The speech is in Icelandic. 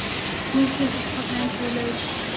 Hún kinkar kolli eins og í leiðslu.